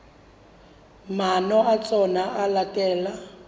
maano a tsona ho latela